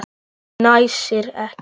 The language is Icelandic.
Fnæsir ekki.